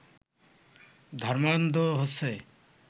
ধর্মান্ধ হচ্ছে